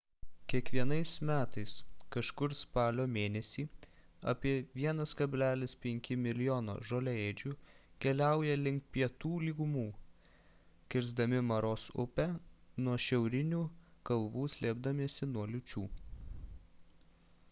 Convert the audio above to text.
kiekvienais metais kažkur spalio mėnesį apie 1,5 mln žoliaėdžių keliauja link pietinių lygumų kisrdami maros upę nuo šiaurinių kalvų slėpdamiesi nuo liūčių